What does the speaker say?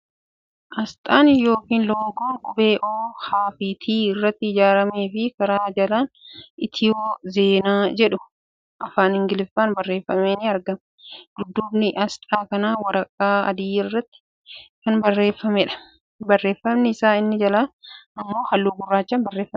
Asxaa yookiin loogoo qubee O, H fi T irraa ijaaramee fi Karaa jalaan 'Itiyoo Zeenaa' jedhu afaan Ingiliiffaan barreeffamee ni argama. Dudduubni asxaa kanaa waraqaa adii irratti kan bocameedha. Barreeffamni isaa inni jalaa immoo halluu gurraachaan barreeffameera.